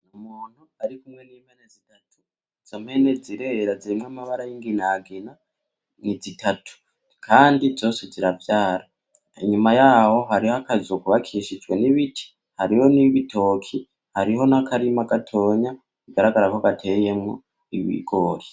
Umuntu arikumwe nimpene zitatu izo mpene zirera zirimwo amabara yinginagina ni zitatu kandi zose ziravyara inyuma yaho hariho akazu kubakishijwe nibiti harimwo nibitoki hariho nakarima gatonya bigaragarako gateyemwo ibigori.